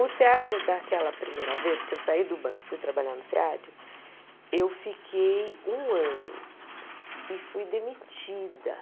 O SEAD, daquela primeira vez que eu saí do banco e fui trabalhar no SEAD, eu fiquei um ano e fui demitida.